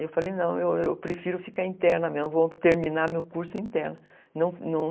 Eu falei, não, eu eu prefiro ficar interna mesmo, vou terminar meu curso interno.